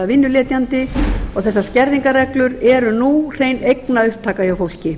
vinnuletjandi og þessar skerðingarreglur nú eru hrein eignaupptaka hjá fólki